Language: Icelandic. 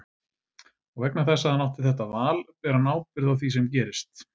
Og vegna þess að hann átti þetta val ber hann ábyrgð á því sem gerist.